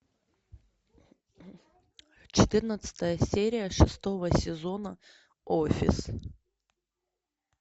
четырнадцатая серия шестого сезона офис